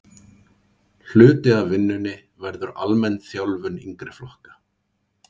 Hluti af vinnunni verður almenn þjálfun yngri flokka.